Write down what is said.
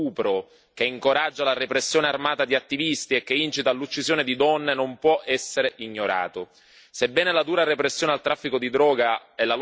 Un presidente di uno Stato sovrano che giustifica lo stupro, che incoraggia la repressione armata di attivisti e che incita all'uccisione di donne non può essere ignorato.